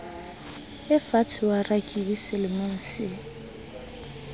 efatshe wa rakebi selemong se